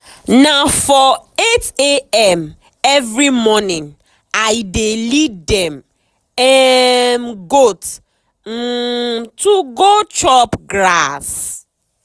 na for 8am every morning i dey lead dem um goat um to go chop grass.